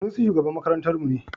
Sanusi shugaban makarantarmu ne.